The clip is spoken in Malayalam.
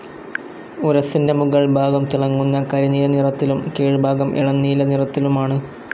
ഉരസ്സിന്റെ മുകൾ ഭാഗം തിളങ്ങുന്ന കരിനീല നിറത്തിലും കീഴ്ഭാഗം ഇളം നീല നിറത്തിലുമാണ്.